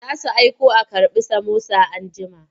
Za su aiko a karɓi samosa anjima.